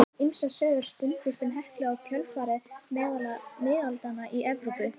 Ýmsar sögur spunnust um Heklu í kjölfarið meðal miðaldamanna í Evrópu.